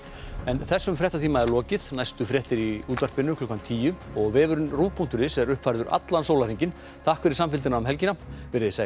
þessum fréttatíma er lokið næstu fréttir verða í útvarpi klukkan tíu og vefurinn rúv punktur is er uppfærður allan sólarhringinn takk fyrir samfylgdina um helgina verið þið sæl